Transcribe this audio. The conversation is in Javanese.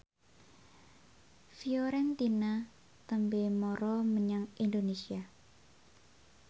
Fiorentina tembe mara menyang Indonesia